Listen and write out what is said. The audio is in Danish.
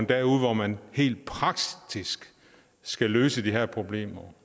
derude hvor man helt praktisk skal løse de her problemer